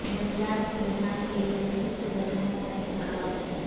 جنگلات کی بحال کے لیے درست جگہوں کا انتخاب